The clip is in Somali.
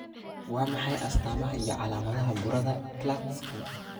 Waa maxay astamaha iyo calaamadaha burada Klatskin?